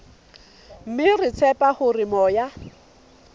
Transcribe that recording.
mme re tshepa hore moya